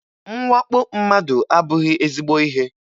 Mwakpo mmadụ abụghị ezigbo ihe.